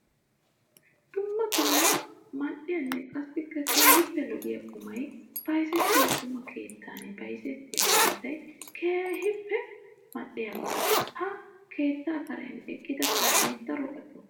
Dumma dumma mali'iyanne qassikka keehippe lo'iya qumay bayzzettiyo qumma keettan bayzzettiya kattay keehippe mali'iyaaga. Ha keetta karen eqqidda kaame daro ali'o.